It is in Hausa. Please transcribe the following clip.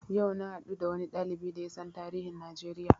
Yau na haɗu da wani ɗalibi da yasan tarihin Najeriya